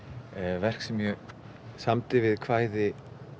verk sem ég samdi við kvæði